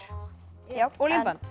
og límband